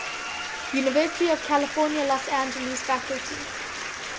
university of california los angeles faculty